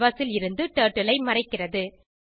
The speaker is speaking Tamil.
கேன்வாஸ் ல் இருந்து டர்ட்டில் ஐ மறைக்கிறது